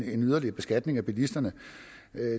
en yderligere beskatning af bilisterne